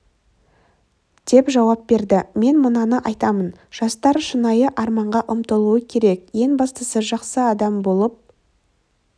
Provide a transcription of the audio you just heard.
деп жауап берді мен мынаны айтамын жастар шынайы арманға ұмтылуы керек ең бастысы жақсы адам болып